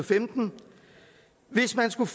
skulle